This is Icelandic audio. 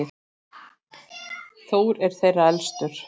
Þór er þeirra elstur.